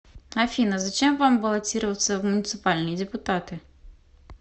афина зачем вам баллотироваться в муниципальные депутаты